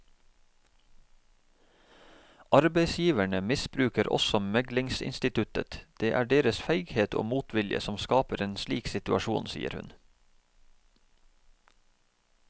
Arbeidsgiverne misbruker også meglingsinstituttet, det er deres feighet og motvilje som skaper en slik situasjon, sier hun.